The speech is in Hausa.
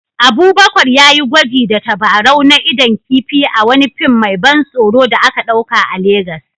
Abubakar ya yi gwaji da tabarau na idon kifi a wani fim mai ban tsoro da aka ɗauka a Legas